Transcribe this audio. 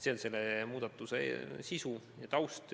See on selle muudatuse sisu ja taust.